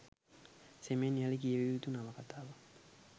සෙමෙන් යළි කියවිය යුතු නවකතාවක්